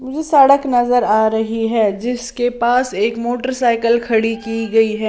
वो सड़क नजर आ रही है जिसके पास एक मोटरसाइकिल खड़ी की गई है।